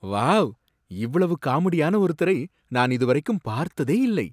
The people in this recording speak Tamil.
வாவ்! இவ்வளவு காமெடியான ஒருத்தரை நான் இதுவரைக்கும் பார்த்ததே இல்லை.